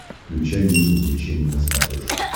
включай мир увлечений на смотрешке